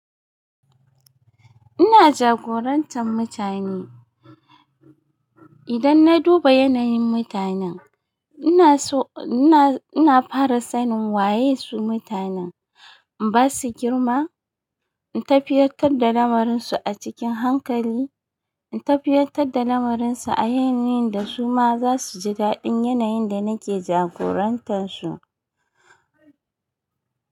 Ina jagorantar mutane. Idan na duba yanayin mutanen, ina so-- ina, ina fara sanin waye su mutanen, in ba su girma, in tafiyar tar da lamurinsu a cikin hankali, in tafiyar tar da lamurinsu a yanayin yin da su ma za su ji daɗin yanayin da nake jagorantar su.